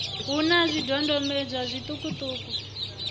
hu na zwidodombedzwa zwiṱuku ṱuku